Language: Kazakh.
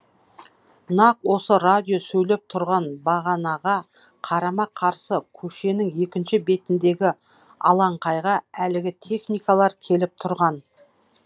нақ осы радио сөйлеп тұрған бағанаға қарама қарсы көшенің екінші бетіндегі алаңқайға әлгі техникалар келіп тұрған